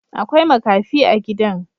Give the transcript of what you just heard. Akwai makafi a gidan